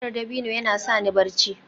giyar dabino yana sa ni barci